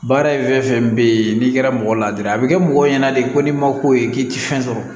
Baara in fɛn fɛn bɛ yen n'i kɛra mɔgɔ ladiri a bɛ kɛ mɔgɔw ɲɛna de ko n'i ma k'o ye k'i ti fɛn sɔrɔ